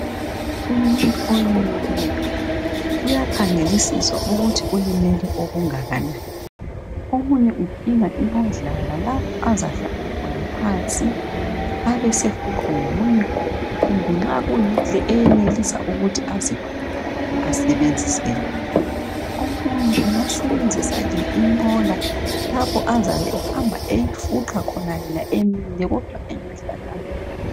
Umuntu olimeleyo uyakhangelisiswa ukuthi ulimele okungakanani omunye udinga inqodlana lapho azahlala khona phansi abesefuqwa ngomunye umuntu kumbe nxa kuyile eyenelisa ukuthi azifuqe asebenzise yona omunye angasebenzisa le inqola lapho azabe ehamba eyifuqa khona yena emile kodwa engahlalanga.